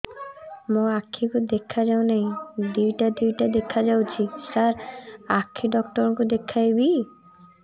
ମୋ ଆଖିକୁ ଦେଖା ଯାଉ ନାହିଁ ଦିଇଟା ଦିଇଟା ଦେଖା ଯାଉଛି ସାର୍ ଆଖି ଡକ୍ଟର କୁ ଦେଖାଇବି